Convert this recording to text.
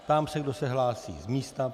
Ptám se, kdo se hlásí z místa.